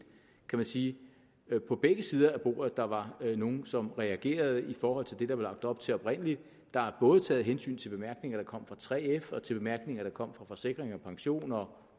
kan man sige på begge sider af bordet der var nogle som reagerede i forhold til det der var lagt op til oprindeligt der er både taget hensyn til bemærkninger der kom fra 3f og til bemærkninger der kom fra forsikring pension og